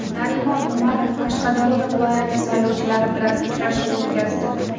Narimon Umarov Qashqadaryo viloyati saylovchilari bilan uchrashuv o‘tkazdi.